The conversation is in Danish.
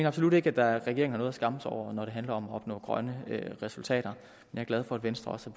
absolut ikke at regeringen har noget at skamme sig over når det handler om at opnå grønne resultater jeg er glad for at venstre også